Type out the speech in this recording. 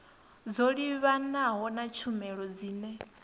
dzo livhanaho na tshumelo dzine